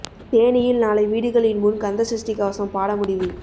தேனியில் நாளை வீடுகளின் முன் கந்த சஷ்டி கவசம் பாட முடிவு